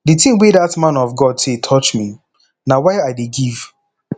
the thing wey dat man of god say touch me na why i dey give